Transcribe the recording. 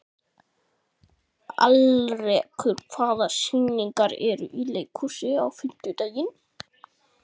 Alrekur, hvaða sýningar eru í leikhúsinu á fimmtudaginn?